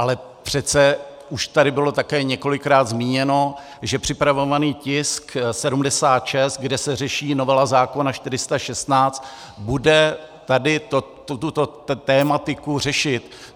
Ale přece už tady bylo také několikrát zmíněno, že připravovaný tisk 76, kde se řeší novela zákona 416, bude tady tuto tematiku řešit.